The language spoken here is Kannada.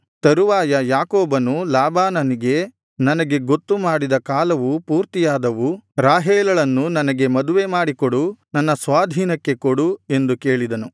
ತರುವಾಯ ಯಾಕೋಬನು ಲಾಬಾನನಿಗೆ ನನಗೆ ಗೊತ್ತು ಮಾಡಿದ ಕಾಲವು ಪೂರ್ತಿಯಾದವು ರಾಹೇಲಳನ್ನು ನನಗೆ ಮದುವೆಮಾಡಿ ನನ್ನ ಸ್ವಾಧೀನಕ್ಕೆ ಕೊಡು ಎಂದು ಕೇಳಿದನು